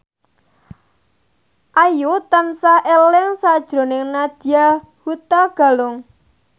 Ayu tansah eling sakjroning Nadya Hutagalung